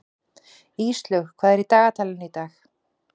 Íslaug, hvað er í dagatalinu í dag?